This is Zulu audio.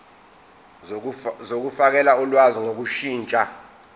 zokufakela ulwazi ngokushintsha